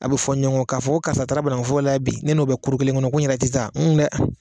A bɛ fɔn ɲɔgɔn kɔ, k'a fɔ ko karisa taara banakuforo la bi, ne n'o bɛ kelen kɔnɔ, ko n yɛrɛ tɛ taa dɛ.